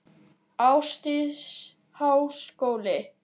Ásdís: Háskóli?